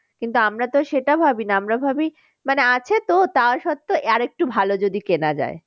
কিন্তু আমরা তো সেটা ভাবি না আমরা ভাবি মানে আছে তো তার সত্ত্বেও আর একটু ভালো যদি কেনা যায়।